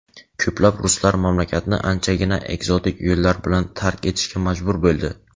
ko‘plab ruslar mamlakatni anchagina ekzotik yo‘llar bilan tark etishga majbur bo‘ldi.